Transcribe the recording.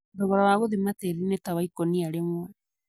Thogora wa gũthima tĩri nitawaikũnia rĩmwi.